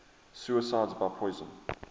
suicides by poison